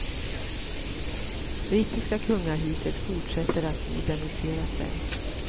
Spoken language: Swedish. Brittiska kungahuset fortsätter att modernisera sig.